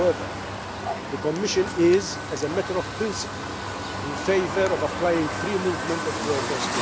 However, the Commission is, as a matter of principle, in favour of fully applying free movement of workers.